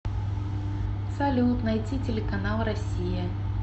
салют найти телеканал россия